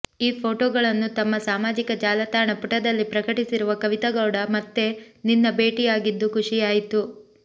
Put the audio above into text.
ಈ ಫೋಟೋಗಳನ್ನು ತಮ್ಮ ಸಾಮಾಜಿಕ ಜಾಲತಾಣ ಪುಟದಲ್ಲಿ ಪ್ರಕಟಿಸಿರುವ ಕವಿತಾ ಗೌಡ ಮತ್ತೆ ನಿನ್ನ ಭೇಟಿಯಾಗಿದ್ದು ಖುಷಿಯಾಯಿತು